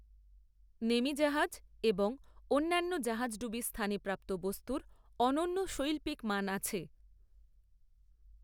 নেমি জাহাজ এবং অন্যান্য জাহাজডুবি স্থানে প্রাপ্ত বস্তুর অনন্য শৈল্পিক মান আছে।